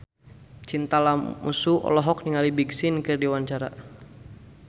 Chintya Lamusu olohok ningali Big Sean keur diwawancara